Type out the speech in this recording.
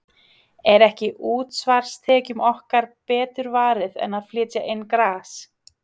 Er ekki útsvarstekjunum okkar betur varið en að flytja inn gras?